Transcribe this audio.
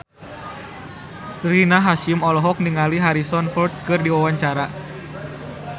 Rina Hasyim olohok ningali Harrison Ford keur diwawancara